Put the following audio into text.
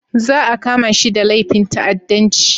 Za a kama shi da laifin ta'addanci